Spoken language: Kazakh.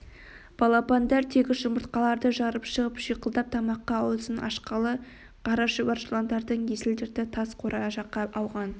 балапандар тегіс жұмыртқаларды жарып шығып шиқылдап тамаққа аузын ашқалы қара шұбар жыландардың есіл-дерті тас қора жаққа ауған